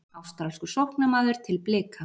Ástralskur sóknarmaður til Blika